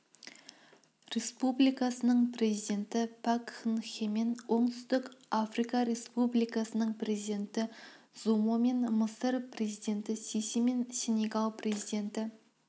республикасының президенті пак кын хемен оңтүстік африка республикасының президенті зумомен мысыр президенті сисимен сенегал президенті